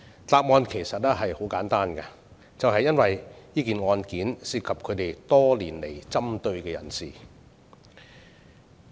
答案其實十分簡單，便是因為案件涉及他們多年來針對的人士。